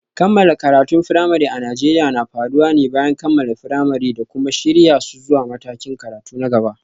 Kammala karatun firamare a Najeriya na faruwa ne bayan kammala firamare da kuma shirya su zuwa matakin karatu na gaba.